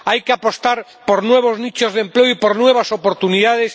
Hay que apostar por nuevos nichos de empleo y por nuevas oportunidades.